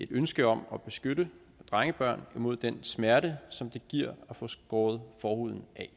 ønske om at beskytte drengebørn imod den smerte som det giver at få skåret forhuden af